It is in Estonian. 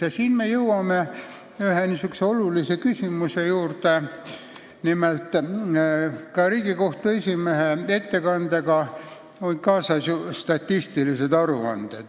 Ja nüüd me jõuame ühe olulise küsimuse juurde: nimelt, Riigikohtu esimehe ettekande juurde kuulusid ka statistilised koondandmed.